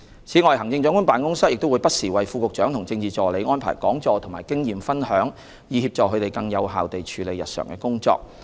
此外，行政長官辦公室亦會不時為副局長和政治助理安排講座和經驗分享，以協助他們更有效地處理日常的工作。